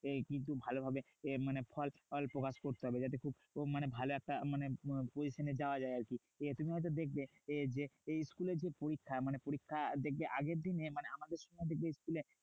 এ কিন্তু ভালোভাবে এ মানে ফল প্রকাশ করতে হবে। যাতে ভালো একটা মানে position এ যাওয়া যায় আরকি। তুমি হয়তো দেখবে যে, school এ যে পরীক্ষা মানে পরীক্ষা দেখবে আগের দিন মানে আমাদের যে school এ